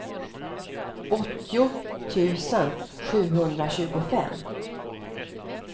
åttio tusen sjuhundratjugofem